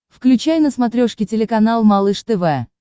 включай на смотрешке телеканал малыш тв